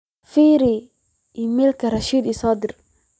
firi iimaylyada rashid so diray